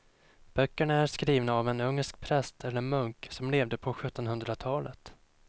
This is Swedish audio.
Böckerna är skrivna av en ungersk präst eller munk som levde på sjuttonhundratalet.